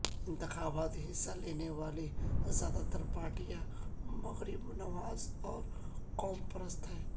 انتخابات میں حصہ لینے والی زیادہ تر پارٹیاں مغرب نواز اور قوم پرست ہیں